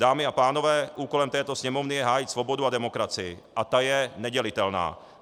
Dámy a pánové, úkolem této Sněmovny je hájit svobodu a demokracii a ta je nedělitelná.